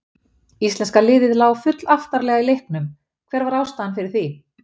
Íslenska liðið lá full aftarlega í leiknum, hver var ástæðan fyrir því?